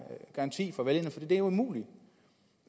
garanti for vælgerne det er umuligt